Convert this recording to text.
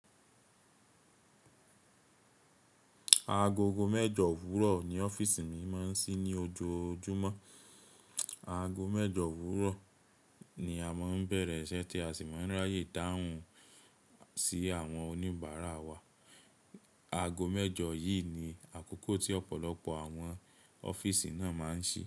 Agogo mẹ́jọ òwúrọ̀ ni ọ́fíìsì mi máa ń sí ní ojoojúmọ́. Ago mẹ́jọ òwúrọ̀ ni a máa ń bẹ̀rẹ̀ iṣẹ́ tí a sì máa ń ráyè dáhùn sí àwọn oníbàárà wa. Ago mẹ́jọ yìí ni àkókò tí ọ̀pọ̀lọpọ̀ àwọn ọ́fíìsì náà máa ń ṣi.